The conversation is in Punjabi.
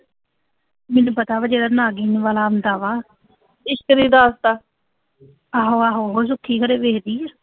ਮੈਨੂੰ ਪਤਾ ਵਾ, ਜਿਹੜਾ ਨਾਗਿਨ ਵਾਲਾ ਆਂਦਾ ਵਾ ਆਹੋ-ਆਹੋ, ਉਹ ਸੁੱਖੀ ਘਰੇ ਵੇਖ ਦੀ